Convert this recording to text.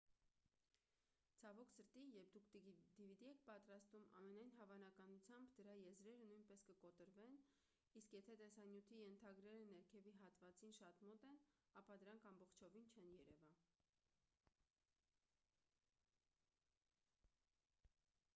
ցավոք սրտի երբ դուք dvd եք պատրաստում ամենայն հավանականությամբ դրա եզրերը նույնպես կկտրվեն իսկ եթե տեսանյութի ենթագրերը ներքևի հատվածին շատ մոտ են ապա դրանք ամբողջովին չեն երևա